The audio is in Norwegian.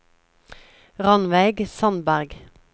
Rannveig Sandberg